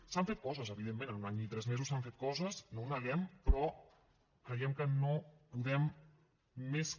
s’han fet coses evidentment en un any i tres mesos s’han fet coses no ho neguem però creiem que no podem més que